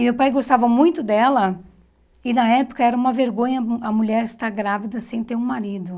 E meu pai gostava muito dela, e na época era uma vergonha a mulher estar grávida sem ter um marido.